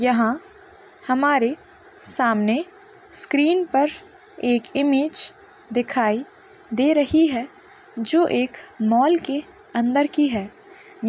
यहाँ हमारे सामने स्क्रीन पर एक इमेज दिखाई दे रही है जो की एक मॉल के अंदर की है। य--